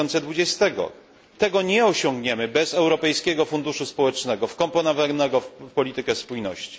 2020. Tego nie osiągniemy bez Europejskiego Funduszu Społecznego wkomponowanego w politykę spójności.